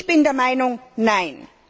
Ich bin der Meinung Nein!